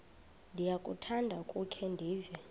ndiyakuthanda ukukhe ndive